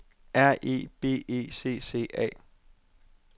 R E B E C C A